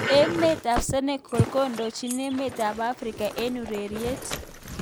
Emet ab Senegal kondojin emet ab Afrika eng ureriet.